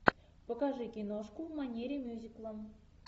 покажи киношку в манере мюзикла